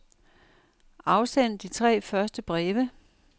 Afsend de tre første breve.